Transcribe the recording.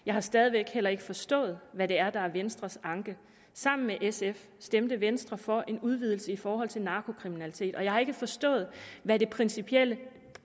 jeg har stadig væk heller ikke forstået hvad det er der er venstres anke sammen med sf stemte venstre for en udvidelse i forhold til narkokriminalitet og jeg har ikke forstået hvad det principielt